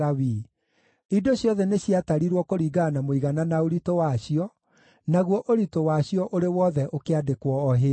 Indo ciothe nĩciatarirwo kũringana na mũigana na ũritũ wacio, naguo ũritũ wacio ũrĩ wothe ũkĩandĩkwo o hĩndĩ ĩyo.